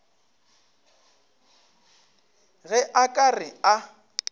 ge a ka re a